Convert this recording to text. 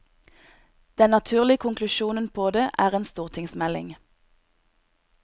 Den naturlige konklusjonen på det er en stortingsmelding.